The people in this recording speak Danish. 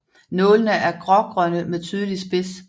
Nålene er grågrønne med tydelig spids